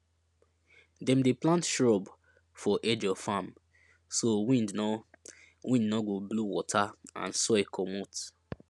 dem dey plant shrub for edge of farm so wind no wind no go blow water and soil comot